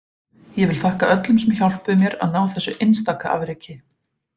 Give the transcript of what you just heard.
Ég vil þakka öllum sem hjálpuðu mér að ná þessu einstaka afreki.